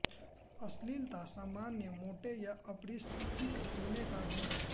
अश्लीलता सामान्य मोटे या अपरिष्कृत होने का गुण है